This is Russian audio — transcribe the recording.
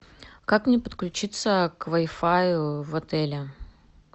как мне подключиться к вай фаю в отеле